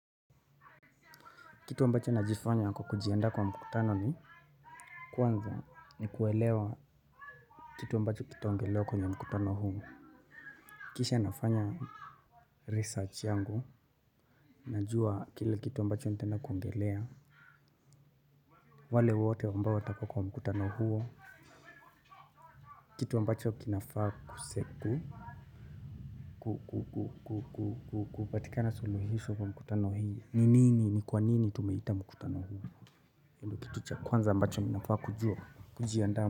Kitu ambacho najifanya kwa kujianda kwa mkutano ni kwanza ni kuelewa kitu ambacho kitaongelewa kwenye mkutano huo. Kisha nafanya research yangu. Najua kile kitu ambacho nitaenda kuongelea. Wale wote ambao watakuwa kwa mkutano huo. Kitu ambacho kinafaa kuseku. Kupatika na suluhiso kwa mkutano hii. Ni nini, ni kwa nini tumaita mkutano huo. Kwanza ambacho ninafaa kujua. Kujiandaa mkutano huo.